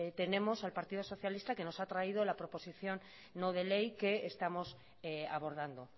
tenemos al partido socialista que nos ha traído la proposición no de ley que estamos abordando